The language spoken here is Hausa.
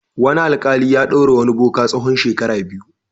Wani alƙali ya ɗaure wani boka tsawon shekara biyu.